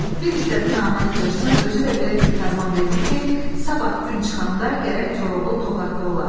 Bir istədi naməni cırsın, özü də belə bir fərman verdi ki, sabah gün çıxanda gərək Koroğlu Toqatda ola.